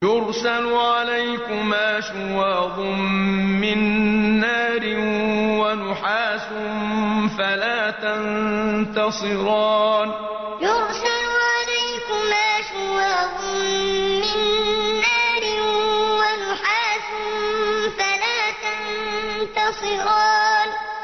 يُرْسَلُ عَلَيْكُمَا شُوَاظٌ مِّن نَّارٍ وَنُحَاسٌ فَلَا تَنتَصِرَانِ يُرْسَلُ عَلَيْكُمَا شُوَاظٌ مِّن نَّارٍ وَنُحَاسٌ فَلَا تَنتَصِرَانِ